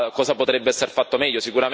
Cosa potrebbe esser fatto meglio?